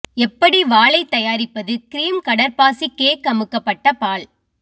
எப்படி வாழை தயாரிப்பது கிரீம் கடற்பாசி கேக் அமுக்கப்பட்ட பால்